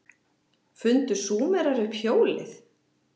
Fundu Súmerar upp hjólið?